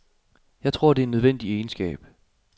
Jeg tror, det er en nødvendig egenskab.